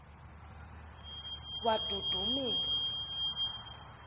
wadudumisa